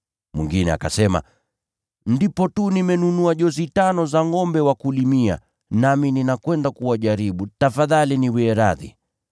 “Mwingine akasema, ‘Ndipo tu nimenunua jozi tano za ngʼombe wa kulimia, nami ninakwenda kuwajaribu, tafadhali niwie radhi.’